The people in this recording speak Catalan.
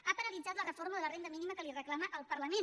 ha paralitzat la reforma de la renda mínima que li reclama el parlament